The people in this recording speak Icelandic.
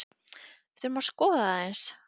Við þurfum að skoða það aðeins.